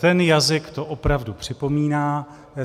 Ten jazyk to opravdu připomíná.